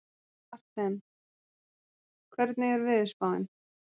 Marthen, hvernig er veðurspáin?